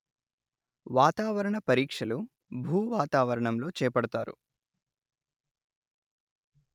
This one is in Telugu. వాతావరణ పరీక్షలు భూవాతావణంలో చేపడతారు